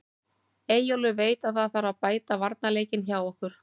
Eyjólfur veit að það þarf að bæta varnarleikinn hjá okkur.